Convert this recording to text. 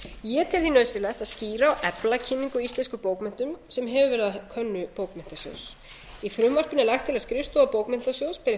ég tel því nauðsynlegt að skýra og efla kynningu á íslenskum bókmennta sem hefur verið á könnu bókmenntasjóðs í frumvarpinu er lagt til að skrifstofa bókmenntasjóðs beri